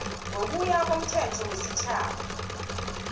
ngokuya komthetho wesitjhaba